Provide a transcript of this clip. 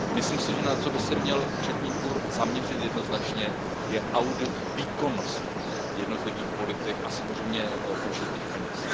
Myslím si, že na co by se měl Účetní dvůr zaměřit jednoznačně, je audit výkonnosti jednotlivých politik a samozřejmě užitých peněz.